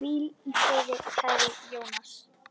Hvíl í friði, kæri Jónas.